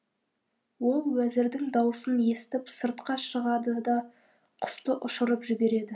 ол уәзірдің даусын естіп сыртқа шығады да құсты ұшырып жібереді